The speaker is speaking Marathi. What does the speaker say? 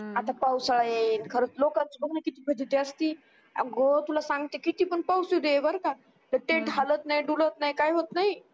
आता पावसाळा येईल खरच लोकांची बघाना किती फजिती असती अगं तुला सांगते किती पण पाऊस येऊदे बर का tent हालत नाय डुलत नाय काय होत